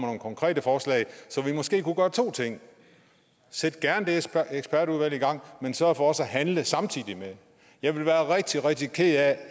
nogle konkrete forslag så vi måske kunne gøre to ting sæt gerne det ekspertudvalg i gang men sørg for også at handle samtidig jeg ville være rigtig rigtig ked af